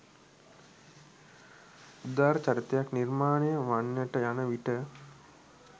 උදාර චරිතයක් නිර්මාණය වන්නට යන විට